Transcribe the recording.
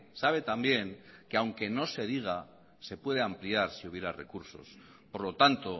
sabe también que aunque no se diga se puede ampliar si hubiera recurso por lo tanto